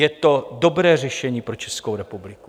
Je to dobré řešení pro Českou republiku.